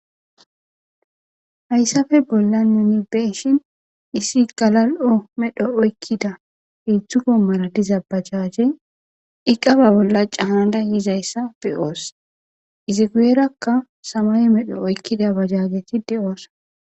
Hayisape bollan nun be'ishen issi gala'o medho oyikida hezu qommora diza bajajeti eqa babola canada yizaysa be'os izi guyeraka samaye medho oyikida bajajeti de'osona